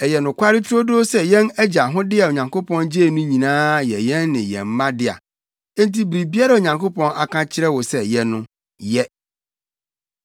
Ɛyɛ nokware turodoo sɛ yɛn agya ahode a Onyankopɔn gyei no nyinaa yɛ yɛn ne yɛn mma dea. Enti biribiara a Onyankopɔn aka akyerɛ wo sɛ yɛ no, yɛ.”